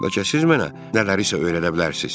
Bəlkə siz mənə nələrisə öyrədə bilərsiniz.